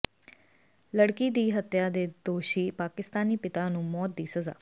ਲੜਕੀ ਦੀ ਹੱਤਿਆ ਦੇ ਦੋਸ਼ੀ ਪਾਕਿਸਤਾਨੀ ਪਿਤਾ ਨੂੰ ਮੌਤ ਦੀ ਸਜ਼ਾ